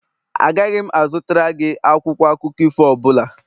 Agaghị m azụtara gị akwụkwọ akụkọ ifo ọ bụla